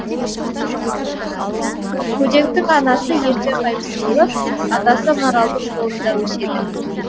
көдектің анасы ерте қайтыс болып атасы маралдың қолында өседі